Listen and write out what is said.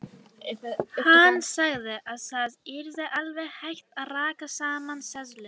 Hann sagði að það yrði alveg hægt að raka saman seðlum.